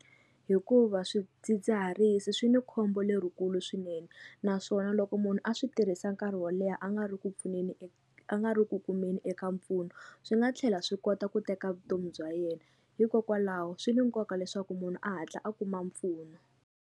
Hikuva swidzidziharisi swi ni khombo lerikulu swinene naswona loko munhu a swi tirhisa nkarhi wo leha a nga ri ku pfuneni a nga ri ku kumeni eka mpfuno swi nga tlhela swi kota ku teka vutomi bya yena hikokwalaho swi ni nkoka leswaku munhu a hatla a kuma mpfuno.